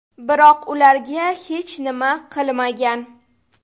Biroq ularga hech nima qilmagan.